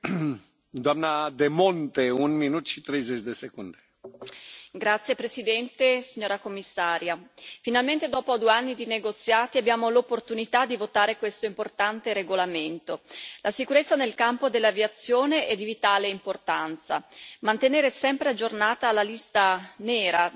Signor Presidente, onorevoli colleghi, signora Commissario, finalmente dopo due anni di negoziati abbiamo l'opportunità di votare questo importante regolamento. La sicurezza nel campo dell'aviazione è di vitale importanza. Mantenere sempre aggiornata la lista nera delle compagnie aeree però non basta.